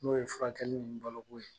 N'o ye furakɛli ni baloko ye